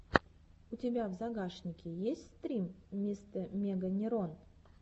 у тебя в загашнике есть стрим мистэмеганерон